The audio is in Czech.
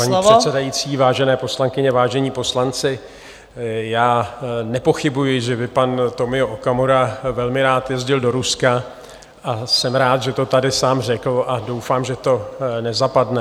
Vážená paní předsedající, vážené poslankyně, vážení poslanci, já nepochybuji, že by pan Tomio Okamura velmi rád jezdil do Ruska, a jsem rád, že to tady sám řekl, a doufám, že to nezapadne.